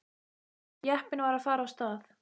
Jeppinn var að fara af stað.